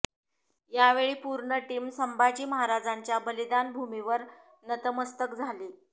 यावेळी पूर्ण टीम संभाजी महाराजांच्या बलिदान भूमीवर नतमस्तक झाली